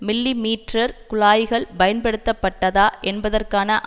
millimetre குழாய்கள் பயன்படுத்தப்பட்டதா என்பதற்கான